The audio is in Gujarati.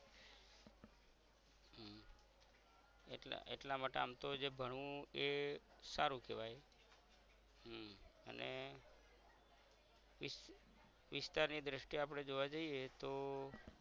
એટલા એટલા માટે આમ તો જે ભણવું એ સારુ કેવાઈ હમ અને વીસ વિસ્તારની દ્રષ્ટિ આપદે જોવા જઈએ તો